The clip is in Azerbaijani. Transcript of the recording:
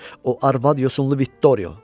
O arvad yosunlu Viktorio.